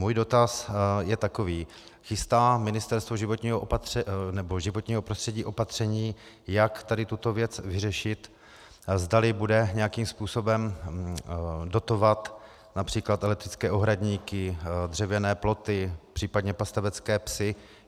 Můj dotaz je takový: Chystá Ministerstvo životního prostředí opatření, jak tady tuto věc vyřešit, zdali bude nějakým způsobem dotovat například elektrické ohradníky, dřevěné ploty, případně pastevecké psy?